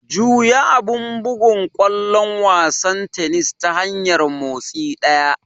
Juya abun bugun ƙwallon wasan tennis ta hanyar motsi ɗaya.